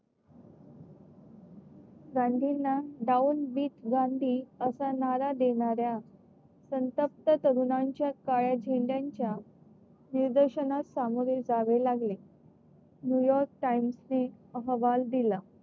गांधींना गांधी असा नारा देणाऱ्या संतप्त तरुणांच्या काळ्या झेंड्यांच्या निदर्शनास सामोरे जावे लागले. नयूयॉर्क टाइम्स ने अहवाल दिला.